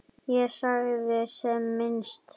Ég sagði sem minnst.